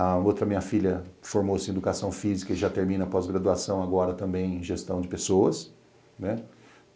A outra minha filha formou-se em Educação Física e já termina a pós-graduação agora também em Gestão de Pessoas.